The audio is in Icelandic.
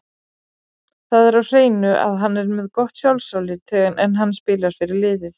Það er á hreinu að hann er með gott sjálfsálit, en hann spilar fyrir liðið.